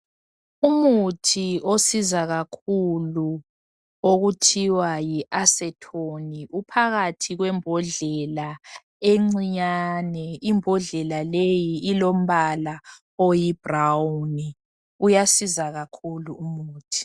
Umuthi onceda kakhulu okuthiwa yi Acetone uphakathi kwembodlela encinyane imbodlela leyi ilombala oyi"brown "uyanceda kakhulu umuthi.